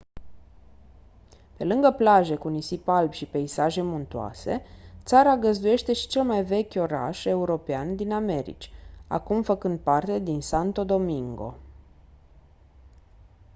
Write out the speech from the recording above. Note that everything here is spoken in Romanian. pe lângă plaje cu nisip alb și peisaje muntoase țara găzduiește și cel mai vechi oraș european din americi acum făcând parte din santo domingo